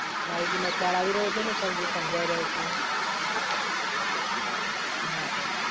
માહિતીમાં ખ્યાલ આવી રહ્યો છે ને સર જે સમજાવી રહ્યો છું એ? હા સર.